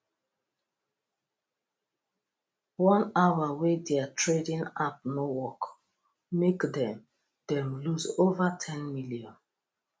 one hour wey their trading app no work make them them lose over ten million